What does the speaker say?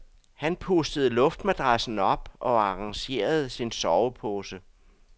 Han pustede luftmadrassen op og arrangerede sin sovepose.